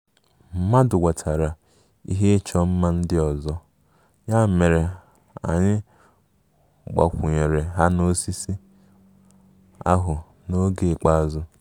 Mmadụ wetara ihe ịchọ mma ndị ọzọ, ya mere anyị gbakwunyere ha n'osisi ahụ n'oge ikpeazụ